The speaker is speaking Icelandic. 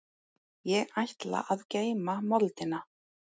Ég ætla að geyma moldina.